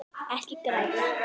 Ekki gráta